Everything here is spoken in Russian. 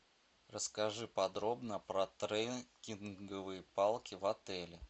расскажи подробно про трекинговые палки в отеле